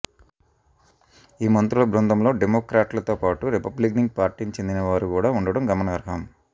ఈ మంత్రుల బృందంలో డెమోక్రాట్లతో పాటు రిపబ్లికన్ పార్టీకి చెందిన వారు కూడా ఉండటం గమనార్హం